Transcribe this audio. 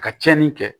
A ka tiɲɛni kɛ